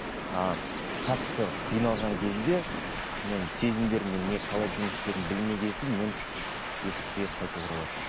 ы қатты қиналған кезде мен сезімдеріммен не қалай жұмыс істерімді білмеген соң мен есірткіге қайтып оралатынмын